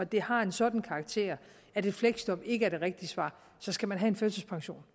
det har en sådan karakter at et fleksjob ikke er det rigtige svar så skal man have en førtidspension